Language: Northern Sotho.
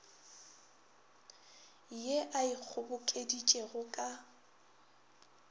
ye a e kgobokeditšego ka